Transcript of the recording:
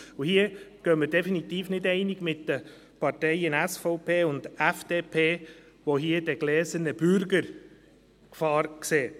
Hier gehen wir definitiv nicht einig mit der SVP und der FDP, die die Gefahr eines «gläsernen Bürgers» sehen.